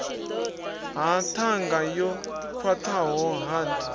ha ṱhanga yo khwaṱhaho hard